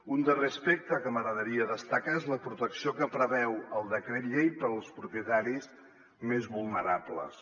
un darrer aspecte que m’agradaria destacar és la protecció que preveu el decret llei per als propietaris més vulnerables